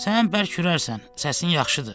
Sən bərk hürərsən, səsin yaxşıdır.